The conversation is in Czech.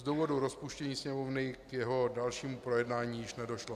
Z důvodu rozpuštění Sněmovny k jeho dalšímu projednání již nedošlo.